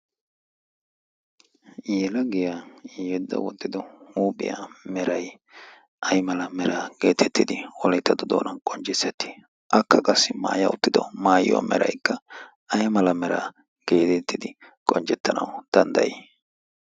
Yelagiyaa yeedda wottido huuphiyaa meray ay mala meraa geetettidi wolayttatto doonan qoncissettii? Akka qassi maaya uttido maayiyoa meraykka ay mala meraa geetettidi qoncettanawu danddayii?